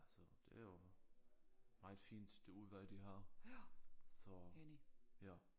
Altså det er jo meget fint det udvalg de har så ja